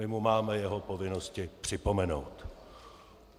My mu máme jeho povinnosti připomenout.